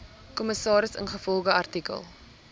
kommissaris ingevolge artikel